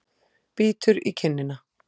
Bítur í kinnina.